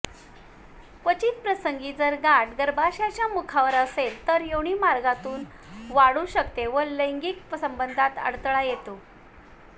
क्वचितप्रसंगी जर गाठ गर्भाशयाच्या मुखावर असेल तर योनीमार्गातून वाढू शकते व लैंगिक संबंधात अडथळा येतो